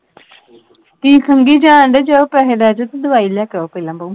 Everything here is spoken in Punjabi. ਕੀ ਖੰਗੀ ਜਾਣ ਢੇ ਜਾਉ ਪੈਹੇ ਲੈ ਜਾਓ ਤੇ ਦਵਾਈ ਲੈ ਕੇ ਆਓ ਪਹਿਲਾ ਬਾਉ।